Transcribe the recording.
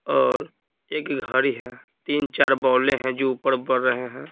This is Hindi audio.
और एक घड़ी है तीन-चार हैं जो ऊपर बढ़ रहे हैं.